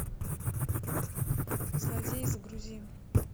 злодей загрузи